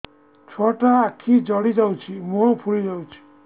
ଛୁଆଟା ଆଖି ଜଡ଼ି ଯାଉଛି ମୁହଁ ଫୁଲି ଯାଉଛି